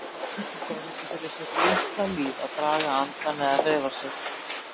Hann þorði ekki fyrir sitt litla líf að draga andann eða hreyfa sig.